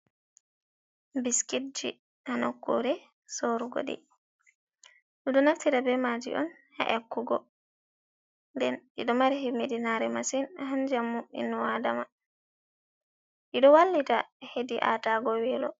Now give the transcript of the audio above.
Biskit ji haa nokkure sorugo ɗi, ɗum ɗo naftira be maaji on haa nyakkugo, nden ɗiɗo mari himmiɗi naare masin Haa njamu inno adama, ɗiɗo wallita hedi a tago weelo.